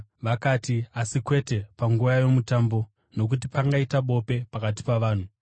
Vakati, “Asi kwete panguva yoMutambo nokuti pangaita bope pakati pavanhu.”